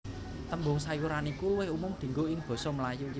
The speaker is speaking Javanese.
Tembung sayuran iku luwih umum dienggo ing basa Melayu